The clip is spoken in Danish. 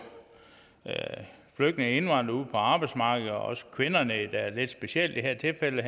flygtninge og indvandrere på arbejdsmarkedet også kvinderne specielt i det her tilfælde